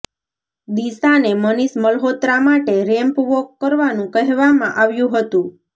દિશાને મનિષ મલ્હોત્રા માટે ramp walk કરવાનું કહેવામાં આવ્યું હતું